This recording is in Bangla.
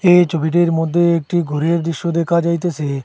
এই ছবিটির মধ্যে একটি ঘরের দৃশ্য দেখা যাইতেসে।